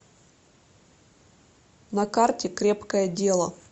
на карте крепкое дело